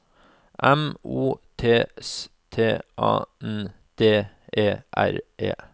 M O T S T A N D E R E